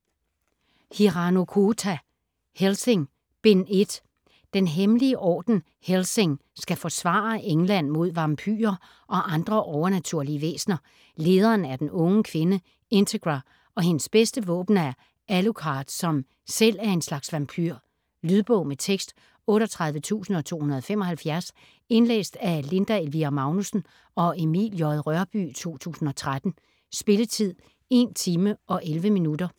Hirano, Kouta: Hellsing: Bind 1 Den hemmelige orden Hellsing skal forsvare England mod vampyrer og andre overnaturlige væsener. Lederen er den unge kvinde Integra, og hendes bedste våben er Alucard, som selv er en slags vampyr. Lydbog med tekst 38275 Indlæst af Linda Elvira Magnussen og Emil J. Rørbye, 2013. Spilletid: 1 timer, 11 minutter.